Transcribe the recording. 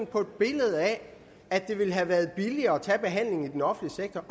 på et billede af at det ville have været billigere at tage behandlingen i den offentlige sektor